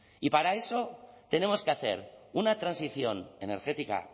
y para eso tenemos que hacer una transición energética